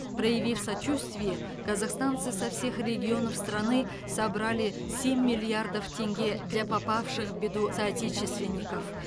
проявив сочувствие казахстанцы со всех регионов страны собрали семь миллиардов тенге для попавших в беду соотечественников